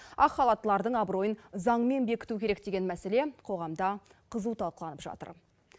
ақ халаттылардың абыройын заңмен бекіту керек деген мәселе қоғамда қызу талқыланып жатыр